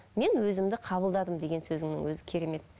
мен өзімді қабылдадым деген сөзіңнің өзі керемет